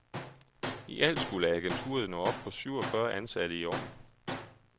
I alt skulle agenturet nå op på syvogfyrre ansatte i år.